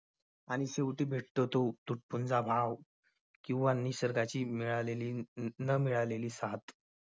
आणि शेवटी भेटतो तो तुटपुंजा भाव किंवा निसर्गाची मिळालेली न मिळालेली साथ.